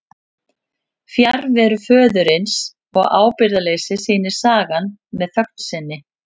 Fjarveru föðurins og ábyrgðarleysi sýnir sagan með þögn sinni.